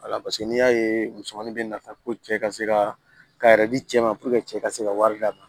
Wala paseke n'i y'a ye musomanin bɛ nafa ko cɛ ka se ka k'a yɛrɛ di cɛ ma cɛ ka se ka wari d'a ma